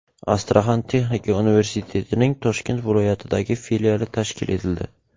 Astraxan texnika universitetining Toshkent viloyatidagi filiali tashkil etildi.